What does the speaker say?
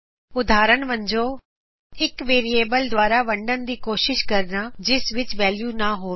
ਉਦਾਹਰਣ ਵਜੋਂ ਇਕ ਵੇਰੀਏਬਲ ਦੁਆਰਾ ਵੰਡਣ ਦੀ ਕਸ਼ਿਸ਼ ਕਰਨਾ ਜਿਸ ਵਿਚ ਵੈਲਯੂ ਨਾ ਹੋਵੇ